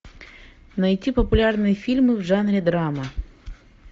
найти популярные фильмы в жанре драма